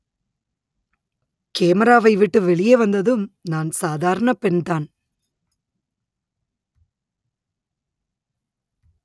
கேமராவை விட்டு வெளியே வந்ததும் நான் சாதாரண பெண்தான்